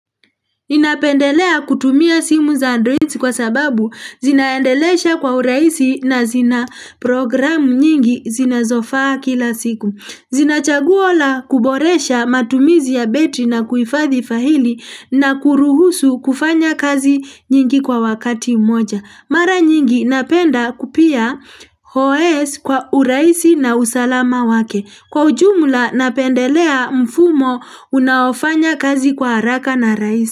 Ninapendelea kutumia simu za Android kwa sababu zinaendelesha kwa uraisi na zina programu nyingi zinazofaa kila siku. Zinachaguo la kuboresha matumizi ya betri na kuifathi fahili na kuruhusu kufanya kazi nyingi kwa wakati moja. Mara nyingi napenda kupia os kwa uraisi na usalama wake. Kwa ujumla napendelea mfumo unaofanya kazi kwa haraka na raisi.